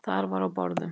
Þar var á borðum: